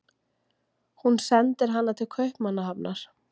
Hún sendir hana til Kaupmannahafnar.